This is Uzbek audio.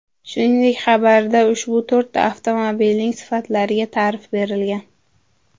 Shuningdek, xabarda ushbu to‘rtta avtomobilning sifatlariga ta’rif berilgan.